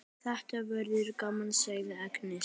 Þetta verður gaman, segir Agnes.